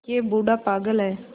यह बूढ़ा पागल है